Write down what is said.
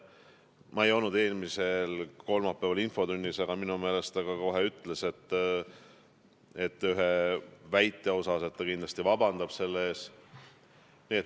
Ma ei olnud eelmisel kolmapäeval infotunnis, aga minu meelest ta ütles kohe, et ta kindlasti vabandab ühe väite pärast.